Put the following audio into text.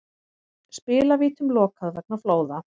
Spilavítum lokað vegna flóða